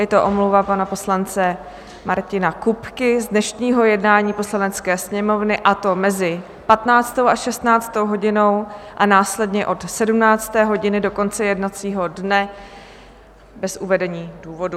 Je to omluva pana poslance Martina Kupky z dnešního jednání Poslanecké sněmovny, a to mezi 15. a 16. hodinou a následně od 17. hodiny do konce jednacího dne, bez uvedení důvodu.